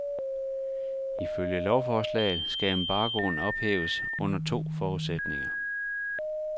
Ifølge lovforslaget skal embargoen ophæves under to forudsætninger.